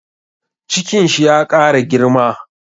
Cikin shi ya ƙara girma